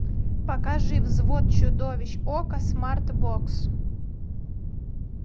покажи взвод чудовищ окко смартбокс